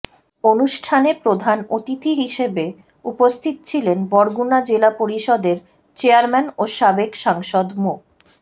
অনুষ্ঠানে প্রধান অতিথি হিসেবে উপস্থিত ছিলেন বরগুনা জেলা পরিষদের চেয়ারম্যান ও সাবেক সাংসদ মো